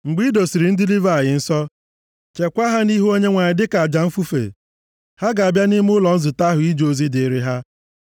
“Mgbe i dosiri ndị Livayị nsọ, cheekwa ha nʼihu Onyenwe anyị dịka aja mfufe, + 8:15 \+xt Ọpụ 29:24\+xt* ha ga-abịa nʼime ụlọ nzute ahụ ije ozi dịrị ha.